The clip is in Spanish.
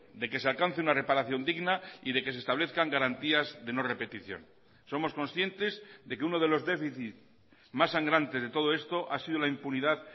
de que se alcance una reparación digna y de que se establezcan garantías de no repetición somos conscientes de que uno de los déficit más sangrantes de todo esto ha sido la impunidad